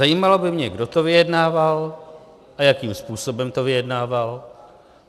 Zajímalo by mě, kdo to vyjednával a jakým způsobem to vyjednával.